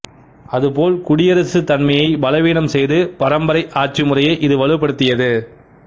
அதுபோல் குடியரசுத் தன்மையைப் பலவீனம் செய்து பரம்பரை ஆட்சிமுறையை இது வலுப்படுத்தியது